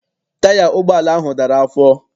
Taya ụgbọala ahụ dara afọ.